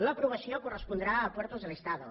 l’aprovació correspondrà a puertos del estado